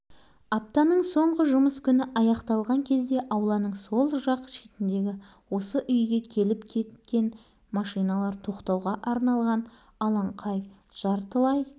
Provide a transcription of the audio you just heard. содан барып олар қалған жерді бітіріп тастамақ болып сенбі күні де жұмысқа келген бірақ асфальт жеткізетін машина бір-ақ